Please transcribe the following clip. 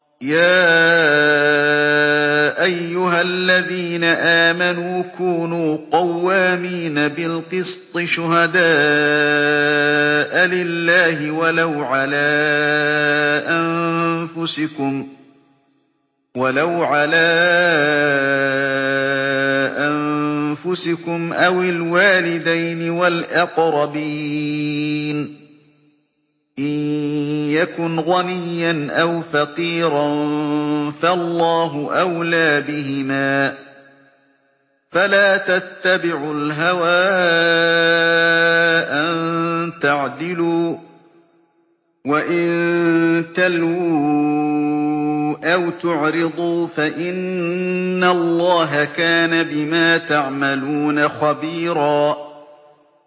۞ يَا أَيُّهَا الَّذِينَ آمَنُوا كُونُوا قَوَّامِينَ بِالْقِسْطِ شُهَدَاءَ لِلَّهِ وَلَوْ عَلَىٰ أَنفُسِكُمْ أَوِ الْوَالِدَيْنِ وَالْأَقْرَبِينَ ۚ إِن يَكُنْ غَنِيًّا أَوْ فَقِيرًا فَاللَّهُ أَوْلَىٰ بِهِمَا ۖ فَلَا تَتَّبِعُوا الْهَوَىٰ أَن تَعْدِلُوا ۚ وَإِن تَلْوُوا أَوْ تُعْرِضُوا فَإِنَّ اللَّهَ كَانَ بِمَا تَعْمَلُونَ خَبِيرًا